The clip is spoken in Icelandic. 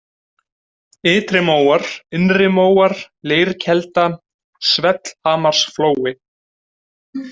Ytrimóar, Innrimóar, Leirkelda, Svellhamarsflói